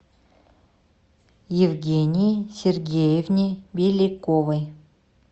евгении сергеевне беликовой